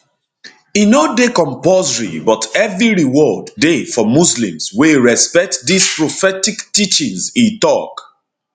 e no dey compulsory but heavy reward dey for muslims wey respect dis prophetic teaching e tok